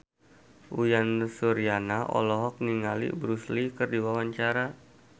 Uyan Suryana olohok ningali Bruce Lee keur diwawancara